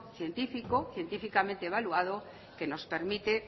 evaluado que nos permite